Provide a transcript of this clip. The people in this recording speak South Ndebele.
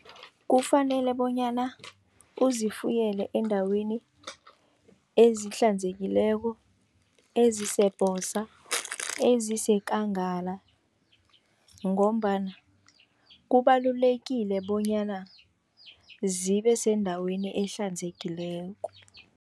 Kufanele bonyana uzifuyele endaweni ezihlanzekileko, ezisebhosa, ezisekangala ngombana kubalulekile bonyana zibe sendaweni ehlanzekileko.